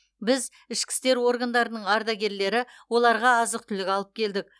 біз ішкі істер органдарының ардагерлері оларға азық түлік алып келдік